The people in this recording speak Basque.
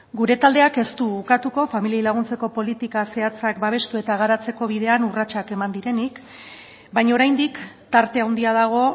gure taldeak ez du ukatuko familiei laguntzeko politika zehatzak babestu eta garatzeko bidean urratsak eman direnik baina oraindik tarte handia dago